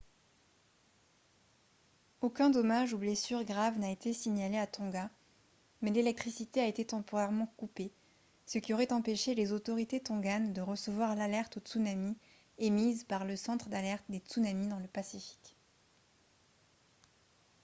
aucun dommage ou blessure grave n'a été signalé à tonga mais l'électricité a été temporairement coupée ce qui aurait empêché les autorités tonganes de recevoir l'alerte au tsunami émise par le centre d'alerte des tsunamis dans le pacifique